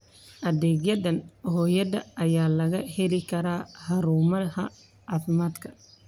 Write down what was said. Adeegyada hooyada ayaa laga heli karaa xarumaha caafimaadka.